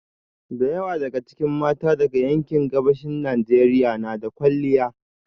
Da yawa daga cikin mata daga yankin Gabashin Najeriya na da kwalliya